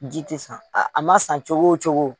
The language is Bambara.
Ji tɛ san, a ma san cogo o cogo.